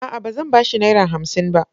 A'a! Ba zan ba shi Naira hamsin ba.